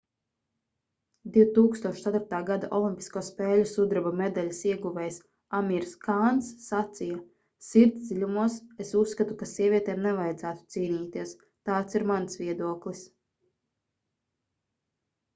2004. gada olimpisko spēļu sudraba medaļas ieguvējs amirs kāns sacīja sirds dziļumos es uzskatu ka sievietēm nevajadzētu cīnīties tāds ir mans viedoklis